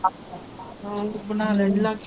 ਹੋਰ ਬਣਾ ਲਈ ਹੈ।